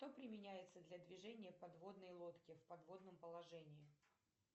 что применяется для движения подводной лодки в подводном положении